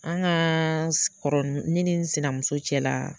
An ŋaa s kɔrɔ ne ni n sinamuso cɛla